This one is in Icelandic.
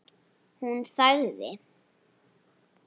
Hún þagði.